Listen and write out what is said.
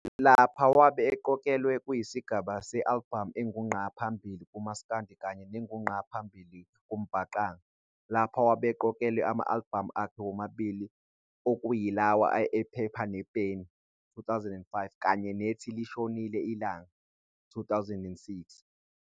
Lapha wabe eqokelwe kwisigaba se-alibhamu engu ngqa phambili kuMasikandi kanye nengu ngqa phambili kuMbaqanga. Lapha wabe eqokelwe amalibhamu akhe womabili okuyilawa, "Iphepha Nepeni", 2005, kanye nethi "Lishonil' Ilanga", 2006.